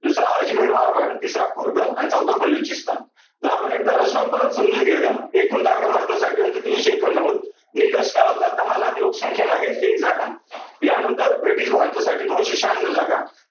दुसरं , तिसर आणि चौथं बलुचिस्थान. तर आपण एकदा रचना परत समजून घेऊया. एकूण जागा भारतासाठी होत्या तीनशे एकोणनव्वद निष्कर्ष काय होता दहा लाख लोकसंख्येमागे एक जागा. या नंतर ब्रिटीश भारातासाठी दोनशे शहान्नौ जागा